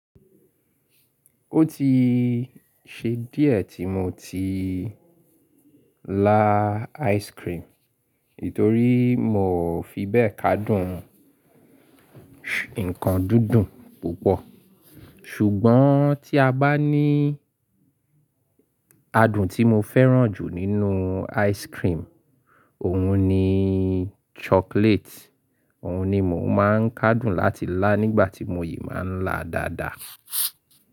Ó ti ṣe díẹ̀ tí mo ti lá ice cream, nítorí mo fi bẹ́ẹ̀ kádùn nǹkan dúndùn púpọ̀. Ṣùgbọ́n tí a bá ní adùn tí mo fẹ́ràn jù nínú ice cream, òhun ni chocolate, òhun ni mò ń kádùn láti lá nígbàtí mo yìí máa ń lá dáadáa.